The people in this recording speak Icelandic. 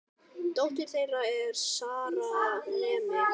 Dóttir þeirra er Sara, nemi.